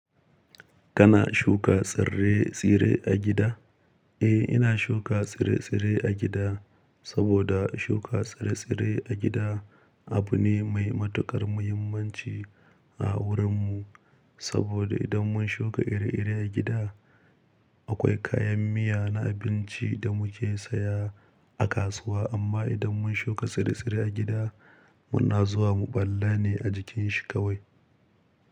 Kana shuka tsire-tsire a gida? Eh, ina shuka tsire-tsire a gida saboda shuka tsire-tsire a gida abu ne mai matuƙar muhimmanci a wurinmu. Saboda idan mun shuka iri-iri a gida, akwai kayan miya na abinci da muke saya a kasuwa. Amma idan mun shuka tsire-tsire a gida, muna zuwa mu ɓalla ne a jikin shi kawai.